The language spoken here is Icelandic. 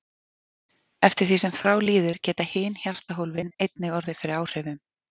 Eftir því sem frá líður geta hin hjartahólfin einnig orðið fyrir áhrifum.